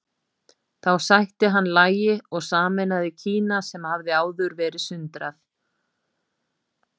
þá sætti hann lagi og sameinaði kína sem hafði áður verið sundrað